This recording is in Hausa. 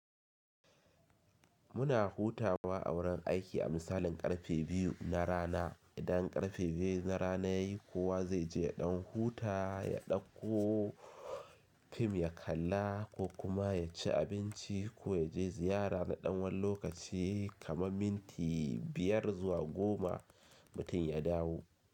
Muna hutawa a wurin aiki a misalin karfe biyu na rana. Idan karfe biyu na rana ya yi kowa zai je ɗan huta, ya ɗakko fim ya kalla ko kuma ya ci abinci ko ya je ziyara na ɗan wan lokaci kamar minti biyar zuwa goma mutum ya dawo.